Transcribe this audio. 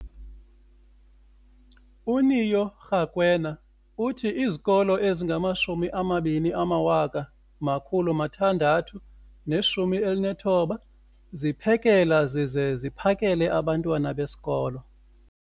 uNeo Rakwena, uthi izikolo ezingama-20 619 ziphekela zize ziphakele abantwana besikolo